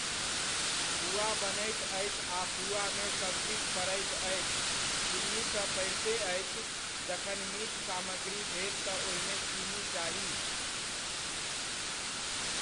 पूआ बनैत अछि आ पूआमे सब किछु पड़ैत अछि, चीन्नी तऽ पड़िते अछि, जखन मीठ सामग्री भेल तऽ ओहिमे चीनी चाही।